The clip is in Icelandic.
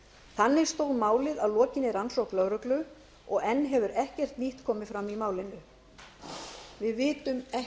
þannig stóð málið að lokinni rannsókn lögreglu og enn hefur ekkert nýtt komið fram í málinu við vitum ekkert